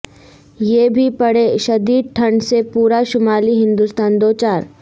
یہ بھی پڑھیں شدید ٹھنڈ سے پورا شمالی ہندوستان دوچار